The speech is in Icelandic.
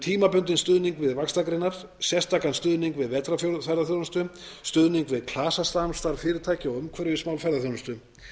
tímabundinn stuðning við vaxtargreinar sérstakan stuðning við vetrarferðaþjónustu stuðning við klasasamstarf fyrirtækja og umhverfismál ferðaþjónustu